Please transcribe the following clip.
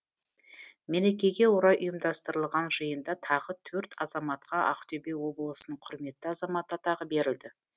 мерекеге орай ұйымдастырылған жиында тағы төрт азаматқа ақтөбе облысының құрметті азаматы атағы берілді